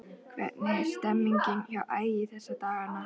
Hvernig er stemningin hjá Ægi þessa dagana?